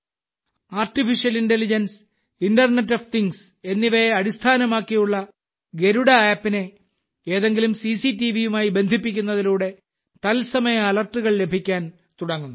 artificial intelligence internet of things എന്നിവയെ അടിസ്ഥാനമാക്കിയുള്ള ഗരുഡ ആപ്പിനെ ഏതെങ്കിലും സിസിടിവിയുമായി ബന്ധിപ്പിക്കുന്നതിലൂടെ തത്സമയ അലർട്ടുകൾ ലഭിക്കാൻ തുടങ്ങുന്നു